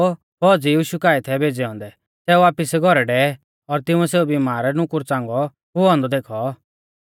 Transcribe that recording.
तैबै सै लोग ज़ो फौज़ीऐ यीशु काऐ थै भेज़ै औन्दै सै वापिस घौरै डेवै और तिंउऐ सेऊ बिमार नुकुर च़ांगौ हुऔ औन्दौ देखौ